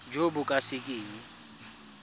jo bo ka se keng